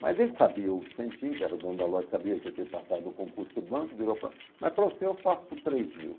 Mas ele sabia, o Vicentinho, que era o dono da loja, sabia que eu tinha passado no concurso do banco, virou e mas para você eu faço por três mil.